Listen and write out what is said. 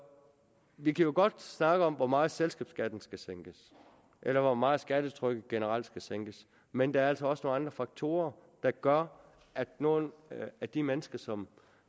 vi kan jo godt snakke om hvor meget selskabsskatten skal sænkes eller hvor meget skattetrykket generelt skal sænkes men der er altså også nogle andre faktorer der gør at nogle af de mennesker som